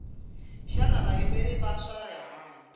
xana vayimeri va swa rihanyu